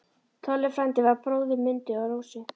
Tolli frændi var bróðir Mundu og Rósu.